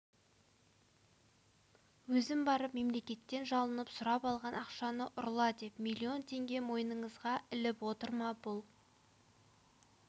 өзім барып мемлекеттен жалынып сұрап алған ақшаны ұрла деп миллион теңге мойныңызға іліп отыр ма бұл